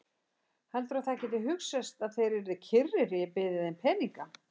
Heldurðu að það gæti hugsast að þeir yrðu kyrrir ef ég byði þeim peninga?